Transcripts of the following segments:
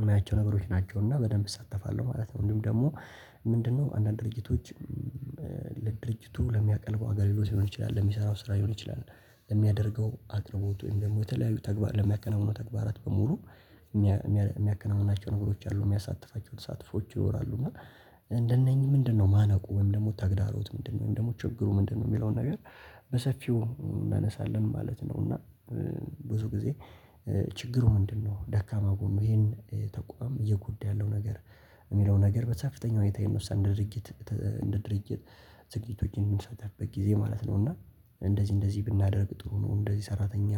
የማያቸው ነገሮች ናቸው። እና በደንብ እሳተፋለሁ ማለት ነው። እንዲሁ ደግሞ ምንድነው አንዳንድ ድርጅቶች ለድርጅቱ ለሚያቀርበው አገልግሎት ሊሆን ይችላል ለሚሰራው ስራ ሊሆን ይችላል የሚያደርገው አቅርቦት ወይም ደግሞ የተለያዩ ተግባር ለሚያከናውኑ ተግባራት በሙሉ የሚያከናውናቸው ነገሮች አሉ። የሚያሳትፋቸውን ተሳትፎዎች ይወራሉ። እና እንደነኚህ ምንድነው ማነቆው ወይም ደግሞ ተግዳሮቱ ምንድነው? ወይም ደግሞ ችግሩ ምንድነው? የሚለውን ነገር በሰፊው እናነሳለን ማለት ነው። እና ብዙ ጊዜ ችግሩ ምንድነው? ደካማ ጎኑ ይሄን ተቋም እየጎዳ ያለው ነገር የሚለው ነገር በከፍተኛ ሁኔታ የምወስደው እንደ ድርጊት እንደ ድርጊት ዝግጅቶችን የምንሳተፍበት ጊዜ ማለት ነው። እና እንደዚህ እንደዚህ ብናደርግ ጥሩ ነው። እንደዚህ ሰራተኛ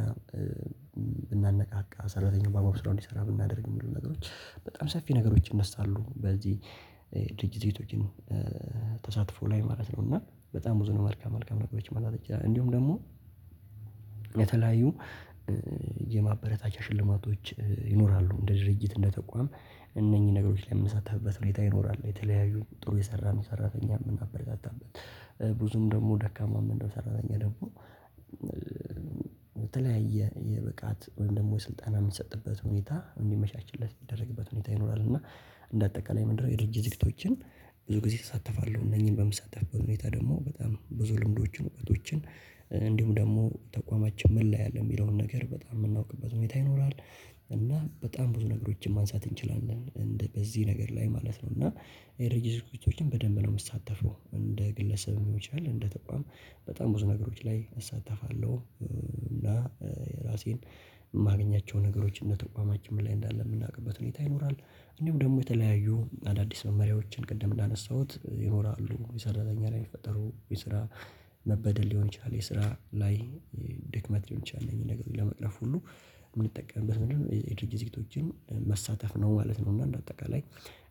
ብናነቃቃ ሰራተኛው በአግባቡ ስራ እንዲሰራ ብናደርግ የሚሉ ነገሮች በጣም ሰፊ ነገሮች ይነሳሉ በዚህ ድርጅት ቤቶችን ተሳትፎ ላይ ማለት ነው። እና በጣም ብዙ ነው መልካም መልካም ነገሮች ማምጣት እንችላለን። እንዲሁም ደግሞ የተለያዩ የማበረታቻ ሽልማቶች ይኖራሉ። እንደ ድርጅት እንደ ተቋም እነኚህ ነገሮች ላይ የምሳተፍበት ሁኔታ ይኖራል። የተለያዩ ጥሩ የሰራን ሰራተኛ የምናበረታታበት ብዙም ደግሞ ደካማ ምንለው ሰራተኛ ደግሞ የተለያየ የብቃት ወይም ደግሞ ስልጠና የምትሰጥበት ሁኔታ እንዲመቻችለት እሚደረግበት ሁኔታ ይኖራል። እና እንደ አጠቃላይ ምንድነው የድርጅት ዝግጅቶችን ብዙ ጊዜ እሳተፋለሁ። እነኚህን በምሳተፍበት ሁኔታ ደግሞ በጣም ብዙ ልምዶችን እውቀቶችን እንዲሁም ደግሞ ተቋማችን ምን ላይ አለ? የሚለውን ነገር በጣም የምናውቅበት ሁኔታ ይኖራል። እና በጣም ብዙ ነገሮችን ማንሳት እንችላለን። እንደ በዚህ ነገር ላይ ማለት ነው። እና የድርጅት ዝግጅቶችን በደንብ ነው የምትሳተፈው። እንደ ግለሰብም ሊሆን ይችላል እንደ ተቋም በጣም ብዙ ነገሮች ላይ እሳተፋለሁ። እና የራሴን የማገኛቸው ነገሮች እንደ ተቋማችን ምን ላይ እንዳለ የምናውቅበት ሁኔታ ይኖራል። እንዲሁም ደግሞ የተለያዩ አዳዲስ መመሪያዎችን ቅድም እንዳነሳሁት ይኖራሉ። የሰራተኛ ላይ የፈጠሩ የስራ መበደል ሊሆን ይችላል የስራ ላይ ሊሂን ይችላል ይሄን ነገር ለመቅረፍ ሁሉ የምንጠቀምበት ምንድነው የድርጅት ዝግጅቶችን መሳተፍ ነው ማለት ነው። እና እንደ አጠቃላይ